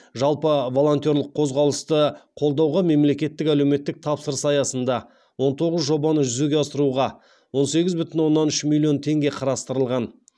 жалпы волонтерлік қозғалысты қолдауға мемлекеттік әлеуметтік тапсырыс аясында он тоғыз жобаны жүзеге асыруға он сегіз бүтін оннан үш миллион теңге қарастырылған